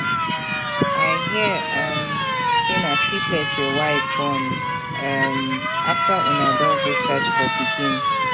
I hear um say na triplet your wife born um after una don go search for pikin.